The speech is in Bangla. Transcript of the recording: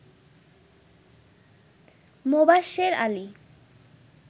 মোবাশ্বের আলী